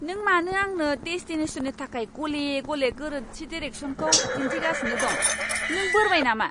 नों मानो आंनो डेस्टिनेशननि थाखाय गले गले गोरोन्थि डिरेक्सनखौ दिन्थिगासिनो दं। नों बोरबाय नामा!